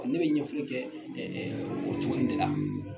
Ɔɔ ne be ɲɛfɔli kɛ o cogo in de la.